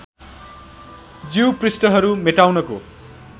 ज्यू पृष्ठहरू मेटाउनको